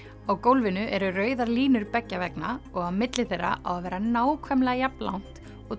á gólfinu eru rauðar línur beggja vegna og á milli þeirra á að vera nákvæmlega jafn langt og